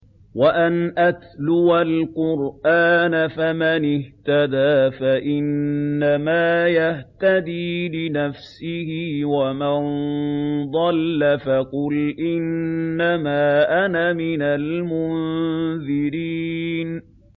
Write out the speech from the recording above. وَأَنْ أَتْلُوَ الْقُرْآنَ ۖ فَمَنِ اهْتَدَىٰ فَإِنَّمَا يَهْتَدِي لِنَفْسِهِ ۖ وَمَن ضَلَّ فَقُلْ إِنَّمَا أَنَا مِنَ الْمُنذِرِينَ